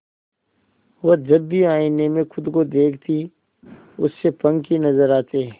वह जब भी आईने में खुद को देखती उसे पंख ही नजर आते